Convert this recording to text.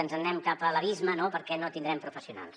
ens en anem cap a l’abisme no perquè no tindrem professionals